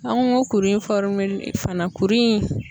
An ko ko kuru in fana kuru in